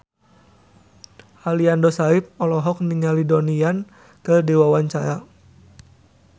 Aliando Syarif olohok ningali Donnie Yan keur diwawancara